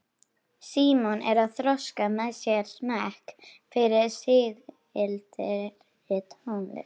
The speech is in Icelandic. Símon er að þroska með sér smekk fyrir sígildri tónlist.